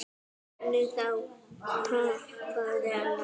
Hvernig þá, hváði Anna.